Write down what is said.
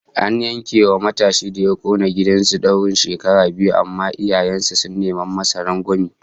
An yanke wa matashin da ya kona gidan su daurin shekara biyu, amma iyayen sa sun neman masa rangwame